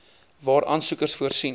waar aansoekers voorsien